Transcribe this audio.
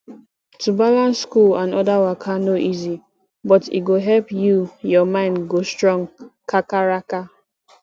to balance school and other waka no easy but e go help you ur mind go strong kakaraka